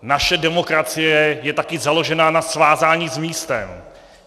Naše demokracie je také založena na svázání s místem.